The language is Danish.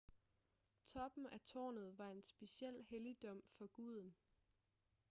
toppen af tårnet var en speciel helligdom for guden